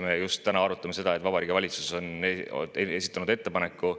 Me just täna arutame seda, et Vabariigi Valitsus on esitanud ettepaneku